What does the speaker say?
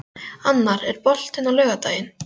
Annar, er bolti á laugardaginn?